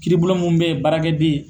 Kiiri bulo mun bɛ ye baarakɛ den